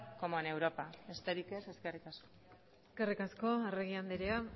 como en europa besterik ez eskerrik asko eskerrik asko arregi andrea